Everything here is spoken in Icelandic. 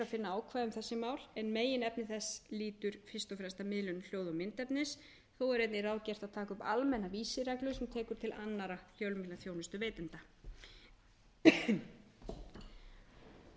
finna ákvæði um þessi mál en meginefni þess lýtur fyrst og fremst að miðlun hljóð og myndefnis þó er einnig ráðgert að taka upp almenna vísireglu sem tekur til annarra fjölmiðlaþjónustuveitenda í frumvarpinu er